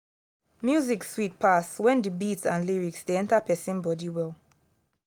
music sweet pass when the beat and lyrics dey enter person body well